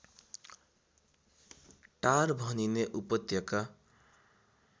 टार भनिने उपत्यका